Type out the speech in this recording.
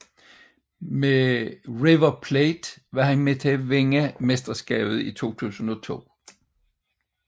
Med River Plate var han med til at vinde mesterskabet i 2002